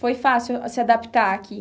Foi fácil se adaptar aqui?